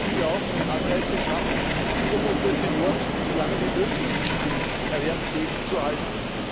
Daneben müssen wir auch Anreize schaffen, um unsere Senioren so lange wie möglich im Erwerbsleben zu halten.